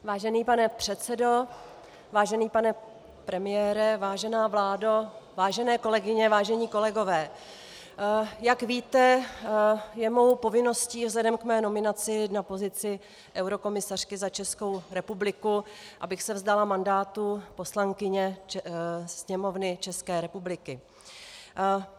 Vážený pane předsedo, vážený pane premiére, vážená vládo, vážené kolegyně, vážení kolegové, jak víte, je mou povinností vzhledem k mé nominaci na pozici eurokomisařky za Českou republiku, abych se vzdala mandátu poslankyně Sněmovny České republiky.